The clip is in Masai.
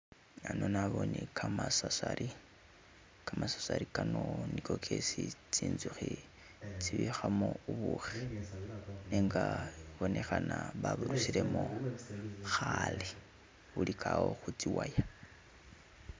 Hano nabone gamasasali, gamasasali gano nigo gesi tsizukhi tibikhamo bubushi inga ibonekhana baburusilemo khale buligawo khitsiwaya